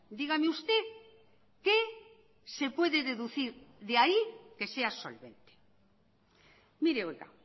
dígame usted qué se puede deducir de ahí que sea solvente mire oiga